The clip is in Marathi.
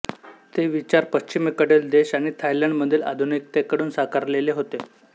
ते विचार पच्छिमेकडील देश आणि थायलंड मधील आधुनीकतेतून साकारलेले होते